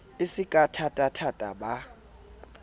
e se ka thatathata ba